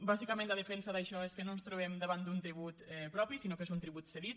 bàsicament la defensa d’això és que no ens trobem davant d’un tribut propi sinó que és un tribut cedit